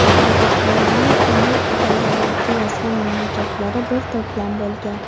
Tadbirkorlarning turli idoralarga yozgan murojaatlari bir to‘plam bo‘lgan.